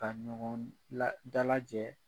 U Ka ɲɔgɔn dalajɛ